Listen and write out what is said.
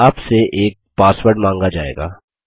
आपसे एक पासवर्ड माँगा जाएगा